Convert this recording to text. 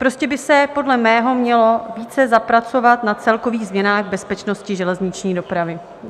Prostě by se podle mého mělo více zapracovat na celkových změnách bezpečnosti železniční dopravy.